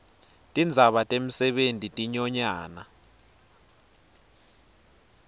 tindzaba temisebenti tinyonyana